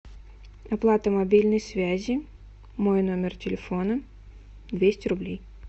оплата мобильной связи мой номер телефона двести рублей